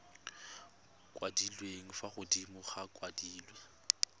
kwadilwe fa godimo di kwadilwe